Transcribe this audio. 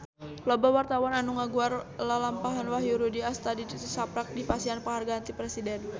Loba wartawan anu ngaguar lalampahan Wahyu Rudi Astadi tisaprak dipasihan panghargaan ti Presiden